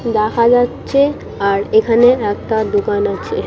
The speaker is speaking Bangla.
দেখা যাচ্ছে আর এখানে একটা দোকান আছে।